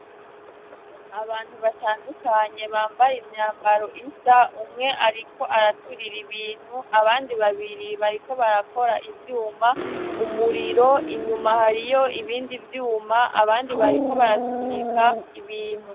Abantu batandukanye, bambaye imyambaro isa, umwe ariko araturira ibintu, abandi babiri bariko barakora ivyuma, umuriro inyuma, hariyo ibindi vyuma, abandi bariko barasunika ibintu.